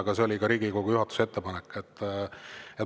Aga see oli Riigikogu juhatuse ettepanek.